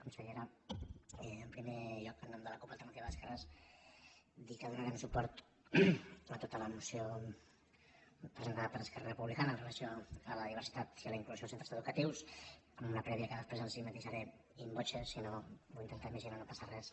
consellera en primer lloc en nom de la cup alternativa d’esquerra dir que donarem suport a tota la moció presentada per esquerra republicana amb relació a la diversitat i a la inclusió en els centres educatius amb una prèvia que després els matisaré in voce si no ho intentaré i si no no passa res